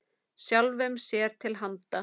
Sjálfum sér til handa.